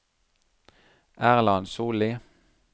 Erland Solli